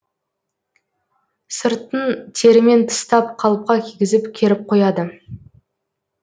сыртын терімен тыстап қалыпқа кигізіп керіп қояды